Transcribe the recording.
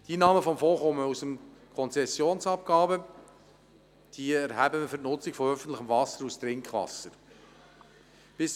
Die Einnahmen des Fonds stammen aus Konzessionsabgaben, die wir für die Nutzung von öffentlichem Wasser als Trinkwasser erheben.